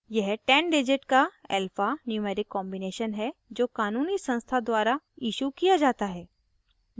यह 10 digit का alphanumeric combination है जो क़ानूनी संस्था द्वारा इशू किया जाता है